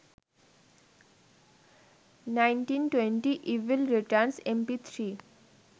1920 evil returns mp3